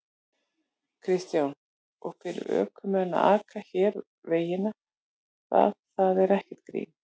Kristján: Og fyrir ökumenn að aka hér vegina, það, það er ekkert grín?